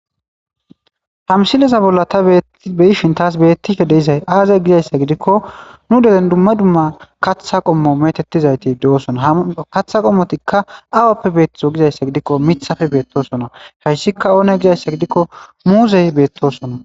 ha misileza bolla ta be7ishin taas beettishe de7izay aaze gizayssa gidikko nu deren dumma dumma katha qommo metettizayti de7osona ha katha qommotikka awappe beettizo gizayssa gidikko mithafe beettosona hayssikka oone gizayssa gidikko muuzey beettosona.